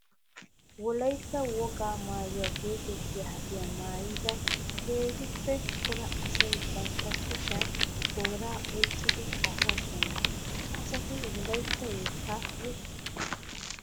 Wolaytta wogaa maayuwa geetettiya haddiya maayidda keehippe cora asay bantta kushiyan toora oyqqiddi kaa'osonna. Ha asatti wolaytta yetta yexxosonna. .